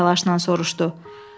Qlenarvan təlaşla soruşdu.